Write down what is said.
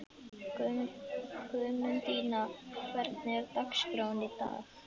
Guðmundína, hvernig er dagskráin í dag?